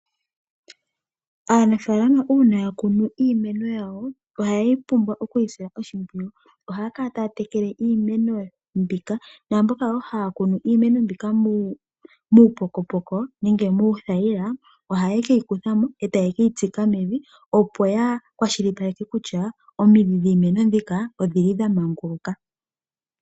Aanafalama uuna ya kunu iimeno yawo, ohaye yi pumbwa oku yi sila oshimpwiyu. Ohaya kala taya tekele iimeno mbika. Naamboka wo haya kunu iimeno mbika muupokopoko nenge muuthayila, ohaye ke yi kutha mo e taye keyi tsika mevi. Opo ya kwashilipaleke kutya omidhi dhiimeno mbika odhi li dha manguluka.